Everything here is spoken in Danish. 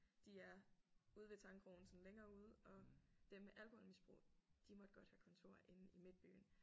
De er ude ved Tangkrogen sådan længere ude og dem med alkoholmisbrug de måtte godt have kontor inde i midtbyen